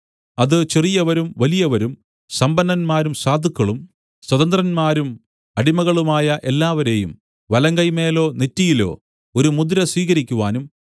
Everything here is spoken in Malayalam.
അത് ചെറിയവരും വലിയവരും സമ്പന്നന്മാരും സാധുക്കളും സ്വതന്ത്രന്മാരും അടിമകളുമായ എല്ലാവരെയും വലങ്കൈമേലോ നെറ്റിയിലോ ഒരു മുദ്ര സ്വീകരിക്കുവാനും